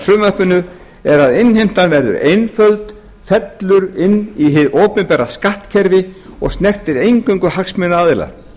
frumvarpinu er að innheimtan verður einföld fellur inn í hið opinbera skattkerfi og snertir eingöngu hagsmunaaðila